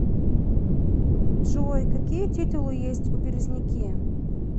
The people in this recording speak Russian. джой какие титулы есть у березники